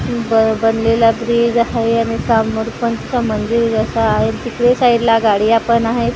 ब बनलेला ब्रिज हाय आणि सामोर पण असं मंदिर असं आहे तिकडे साईडला गाड्या पण आहेत गाडी --